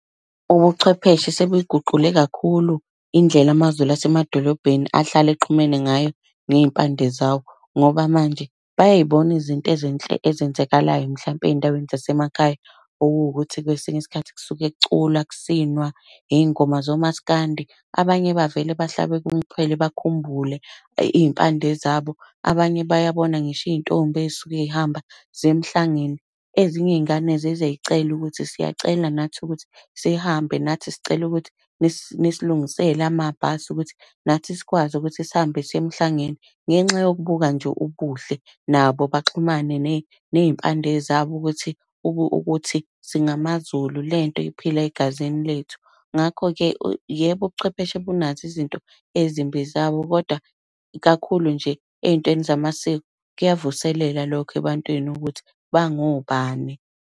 Ubuchwepheshe sebuyiguqule kakhulu indlela amaZulu asemadolobheni ahlale exhumene ngayo ngey'mpande zawo. Ngoba manje bayay'bona izinto ezinhle ezenzakalayo mhlampe ey'ndaweni zasemakhaya. Okuwukuthi kwesinye isikhathi kusuke kuculwa, kusinwa ngey'ngoma zomaskandi. Abanye bavele bahlabeke umxhwele bakhumbule iy'mpande zabo, abanye bayabona ngisho iy'ntombi ey'suke zihamba ziya emhlangeni. Ezinye iy'ngane zize zicele ukuthi, siyacela nathi ukuthi sihambe nathi, sicela ukuthi nisilungisele amabhasi ukuthi nathi sikwazi ukuthi sihambe siye emhlabeni. Ngenxa yokubuka nje ubuhle, nabo baxhumane ney'mpande zabo. ukuthi ukuthi singamaZulu, lento iphila egazini lethu. Ngakho-ke, yebo ubuchwepheshe bunazo izinto ezimbi zawo kodwa kakhulu nje ey'ntweni zamasiko kuyavuselela lokho ebantwini ukuthi, bangobani.